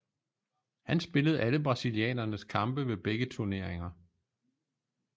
Han spillede alle brasilianernes kampe ved begge turneringer